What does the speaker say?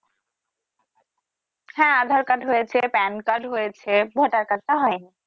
হ্যা Aadhar card হয়েছে Pan card হয়েছে Voter Card টা হয়নি।